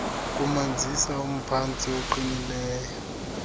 kumanzisa umphantsi oqinileyo